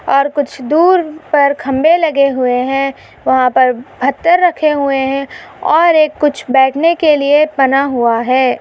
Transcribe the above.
और कुछ दूर पर खंभे लगे हुए हैवहा पर पत्थर रखे हुए है और एक कुछ बैठने के लिए बना हुआ है।